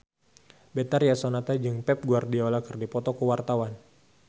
Betharia Sonata jeung Pep Guardiola keur dipoto ku wartawan